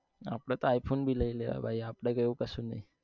આપડે તો i phone બી લઇ લેવાય ભાઈ આપને તો એવું કઈ નહિ